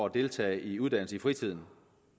at deltage i uddannelse i fritiden